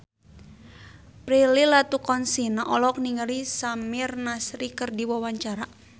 Prilly Latuconsina olohok ningali Samir Nasri keur diwawancara